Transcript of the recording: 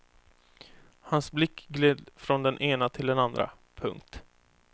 Hans blick gled från den ena till den andra. punkt